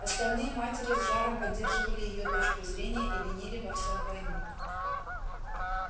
остальные матери с жаром поддерживали её точку зрения и винили во всем войну